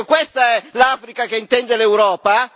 Ecco, questa è l'Africa che intende l'Europa?